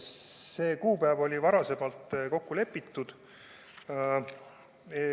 See kuupäev oli varem kokku lepitud.